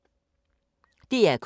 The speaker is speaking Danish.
DR K